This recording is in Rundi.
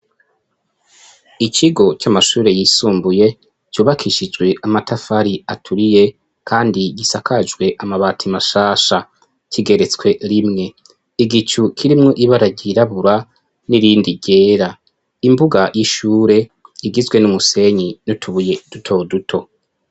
ikigo c'amashure yisumbuye cubakishijwe amatafari aturiye, kandi gisakajwe amabati mashasha. Kigeretswe rimwe. Igicu kirimwo ibara ryirabura, n'irindi ryera . Imbuga y'ishure igizwe n'umusenyi n'utubuye duto duto.